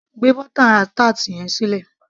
gbé butter tart yẹn sílẹ̀